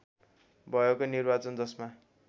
भएको निर्वाचन जसमा